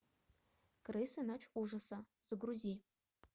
крысы ночь ужаса загрузи